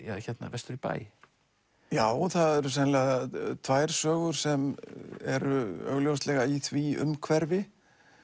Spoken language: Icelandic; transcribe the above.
vestur í bæ já það eru sennilega tvær sögur sem eru augljóslega í því umhverfi